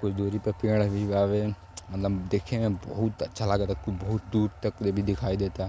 कुछ दूरी प पेड़ भी बावे। मलब देखे में बहुत अच्छा लगता। कु बहुत दूर तकले भी दिखाई देता।